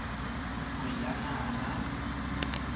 bojanala